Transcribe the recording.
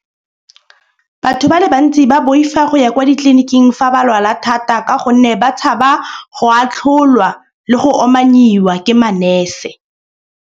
Batho ba le bantsi ba boifa go ya kwa ditliliniking fa ba lwala thata. Ka gonne ba tshaba go atlholwa le go omanniwa ke manese.